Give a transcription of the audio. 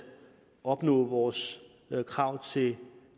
opnå vores krav til